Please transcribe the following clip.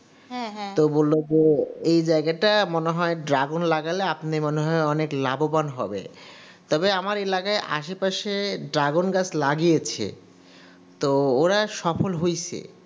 তো বললো যে এই জায়গাটা মনে হয় Dragon লাগালে আপনি মনে হয় অনেক লাভবান হবে তবে আমার এলাকায় আশেপাশে Dragon গাছ লাগিয়েছে তো ওরা সফল হয়েছে.